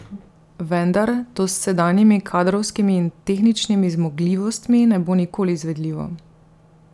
Vendar to s sedanjimi kadrovskimi in tehničnimi zmogljivostmi ne bo nikoli izvedljivo.